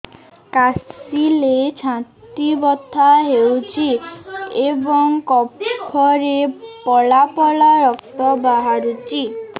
କାଶିଲେ ଛାତି ବଥା ହେଉଛି ଏବଂ କଫରେ ପଳା ପଳା ରକ୍ତ ବାହାରୁଚି